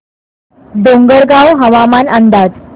डोंगरगाव हवामान अंदाज